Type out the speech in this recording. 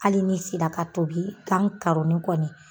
Hali ni sira ka tobi gan karonnin kɔni